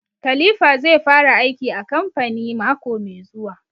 Khalipha zai fara aiki a kamfani mako mai zuwa